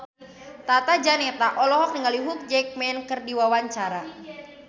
Tata Janeta olohok ningali Hugh Jackman keur diwawancara